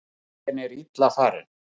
Bíllinn er illa farinn